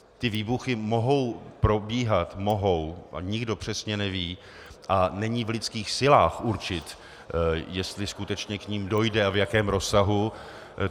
Ty výbuchy mohou probíhat, mohou a nikdo přesně neví a není v lidských silách určit, jestli skutečně k nim dojde a v jakém rozsahu.